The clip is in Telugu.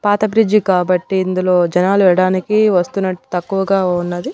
పాత ఫ్రిడ్జి కాబట్టి ఇందులో జనాలు ఇవ్వడానికి వస్తున్నట్లు తక్కువగా ఉన్నది.